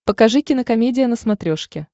покажи кинокомедия на смотрешке